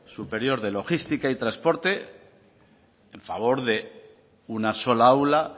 superior de logística y transporte a favor de una sola aula